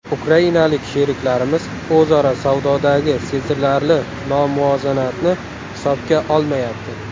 Ukrainalik sheriklarimiz o‘zaro savdodagi sezilarli nomuvozanatni hisobga olmayapti.